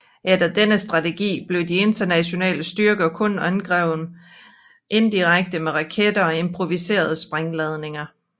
Efter denne strategi blev de internationale styrker kun angrebet indirekte med raketter og improviserede sprængladninger